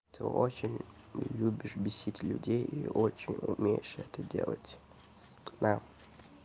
ты очень любишь бесить людей и очень умеешь это делать к нам